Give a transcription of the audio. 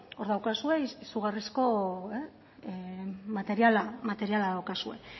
hor daukazue izugarrizko materiala